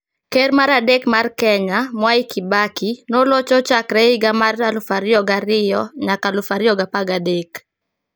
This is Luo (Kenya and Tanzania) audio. Ker mar adek mar Kenya, Mwai Kibaki, nolocho chakre higa mar 2002 nyaka 2013.